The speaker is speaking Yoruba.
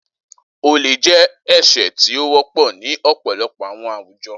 Ole jẹ ẹṣẹ ti o wọpọ ni ọpọlọpọ awọn awujọ.